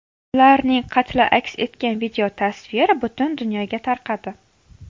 Ularning qatli aks etgan videotasvir butun dunyoga tarqadi.